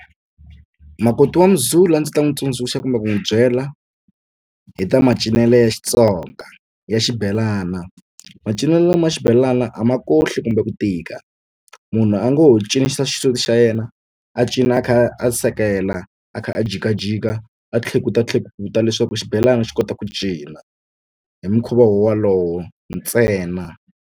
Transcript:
Makoti wa Muzulu a ndzi ta n'wi tsundzuxa kumbe ku n'wi byela hi ta macinelo ya Xitsonga ya xibelana macinelo lama xibelana a ma kohli kumbe ku tika munhu a ngo ho cinisa xisuti xa yena a cinisa xisuti xa yena a cina a ka rhi a sekela a kha a jikajika a tlhekutu tlhekuta leswaku xibelani xi kota ku cina hi mukhuva wolowo ntsena.